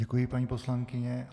Děkuji, paní poslankyně.